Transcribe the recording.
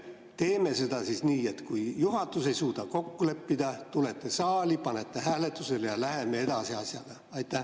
Teeme seda nii, et kui juhatus ei suuda kokku leppida, siis te tulete saali, panete hääletusele ja läheme asjaga edasi.